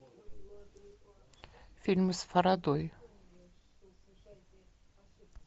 фильмы с фарадой